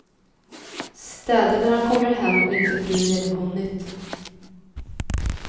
Städar när han kommer hem om inte frun redan hunnit.